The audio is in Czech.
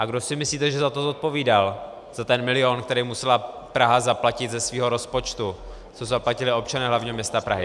A kdo si myslíte, že za to zodpovídal, za ten milion, který musela Praha zaplatit ze svého rozpočtu, co zaplatili občané hlavního města Prahy?